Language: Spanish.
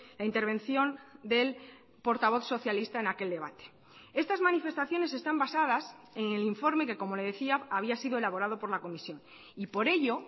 la intervención del portavoz socialista en aquel debate estas manifestaciones están basadas en el informe que como le decía había sido elaborado por la comisión y por ello